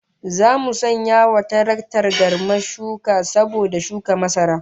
Zamu sanya wa taraktar garmar shuka saboda shuka masara